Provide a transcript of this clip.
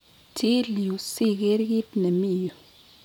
Chil yu siger kit ne mi yu